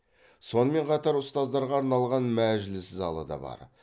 сонымен қатар ұстаздарға арналған мәжіліс залы да бар